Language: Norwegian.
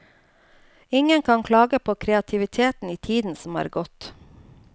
Ingen kan klage på kreativiteten i tiden som er gått.